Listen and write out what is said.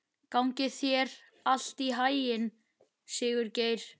Gangi þér allt í haginn, Sigurgeir.